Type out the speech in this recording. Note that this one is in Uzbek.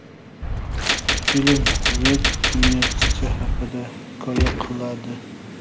Film Meg ismli qizcha haqida hikoya qiladi.